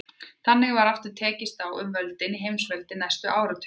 Þannig var aftur tekist á um völdin í heimsveldinu næstu áratugina.